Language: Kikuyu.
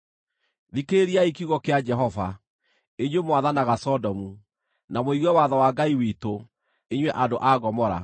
Thikĩrĩriai kiugo kĩa Jehova, inyuĩ mwathanaga Sodomu; na mũigue watho wa Ngai witũ, inyuĩ andũ a Gomora!